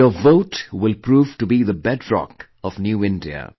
Your vote will prove to be the bedrock of New India